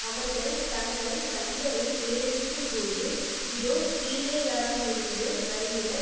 அவர்கள் தங்கள் கண்களை ஏறெடுக்கும் போது இதோ கீலேயாத்திலிருந்து வருகிற